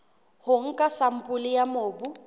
ho nka sampole ya mobu